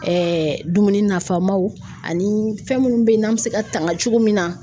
dumuni nafamaw ani fɛn munnu be yen n'an be se ka tanga cogo min na